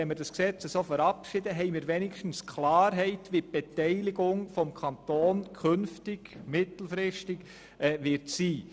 Wenn wir das Gesetz so verabschieden, haben wir wenigstens Klarheit bezüglich der mittelfristigen Beteiligung des Kantons.